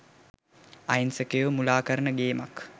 අහිංසකයෝ මුලා කරන ගේමක්.